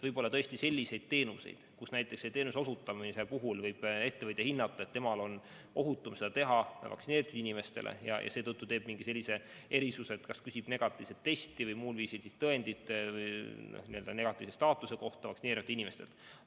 Võib-olla tõesti on selliseid teenuseid, mille puhul võib ettevõtja hinnata, et ohutum on teenindada vaktsineeritud inimesi, ja seetõttu ta teeb mingid erisused, kas küsib negatiivset testi või muud tõendit vaktsineerimata inimestelt.